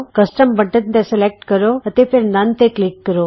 custom button ਤੇ select ਕਰੋ ਅਤੇ ਫੇਰ ਨੱਨ ਤੇ ਕਲਿਕ ਕਰੋ